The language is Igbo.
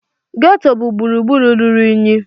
Ghetto bụ gburugburu ruru unyi.